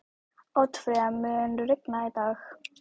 Oddfreyja, mun rigna í dag?